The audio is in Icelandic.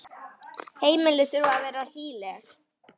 Heimili þurfa að vera hlýleg.